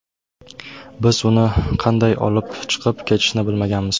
Biz uni qanday olib chiqib ketishni bilmaganmiz.